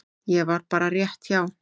Ég var bara rétt hjá.